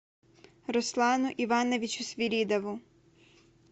руслану ивановичу свиридову